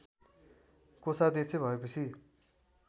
कोषाध्यक्ष भएपछि